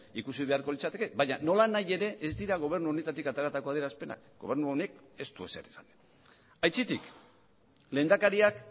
ikusi beharko litzateke baina nolanahi ere ez dira gobernu honetatik ateratako adierazpenak gobernu honek ez du ezer esan aitzitik lehendakariak